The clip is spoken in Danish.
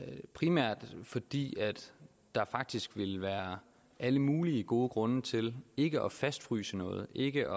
primært fordi der faktisk ville være alle mulige gode grunde til ikke at fastfryse noget ikke